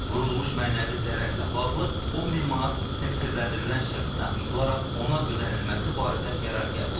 Vurulmuş mənəvi zərərlə bağlı 10 min manat təqsirləndirilən şəxsdən tutularaq ona ödənilməsi barədə qərar qəbul edilib.